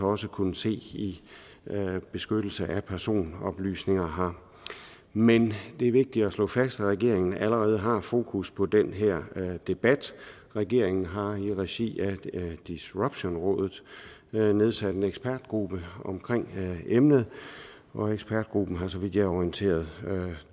også kunne se i beskyttelse af personoplysninger her men det er vigtigt at slå fast at regeringen allerede har fokus på den her debat regeringen har i regi af disruptionrådet nedsat en ekspertgruppe om emnet og ekspertgruppen har så vidt jeg er orienteret